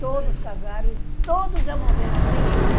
Todos casaram e todos já morreram, tem nenhum.